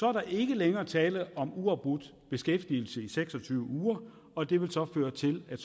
er der ikke længere tale om uafbrudt beskæftigelse i seks og tyve uger og det vil føre til at